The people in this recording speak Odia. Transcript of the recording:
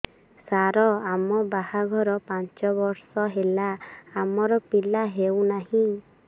ସାର ଆମ ବାହା ଘର ପାଞ୍ଚ ବର୍ଷ ହେଲା ଆମର ପିଲା ହେଉନାହିଁ